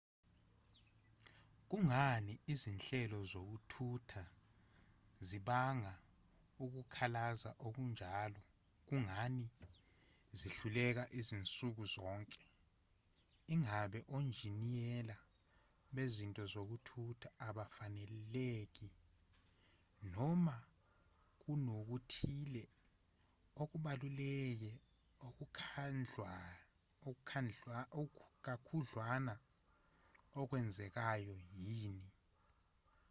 kungani izinhlelo zokuthutha zibanga ukukhalaza okunjalo kungani zihluleka zinsuku zonke ingabe onjiniyela bezinto zokuthutha abafaneleki noma kunokuthile okubaluleke kakhudlwana okwenzekayo yini